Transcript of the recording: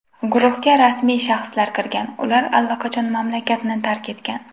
Guruhga rasmiy shaxslar kirgan, ular allaqachon mamlakatni tark etgan.